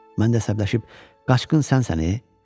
Mən də əsəbləşib qaçqın sənsən, ey?